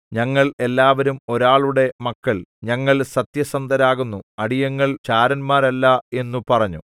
ഞങ്ങൾ എല്ലാവരും ഒരാളുടെ മക്കൾ ഞങ്ങൾ സത്യസന്ധരാകുന്നു അടിയങ്ങൾ ചാരന്മാരല്ല എന്നു പറഞ്ഞു